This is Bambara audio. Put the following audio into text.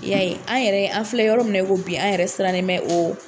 Ya ye ,an yɛrɛ an filɛ yɔrɔ min na i ko bi, an yɛrɛ sirannen bɛ o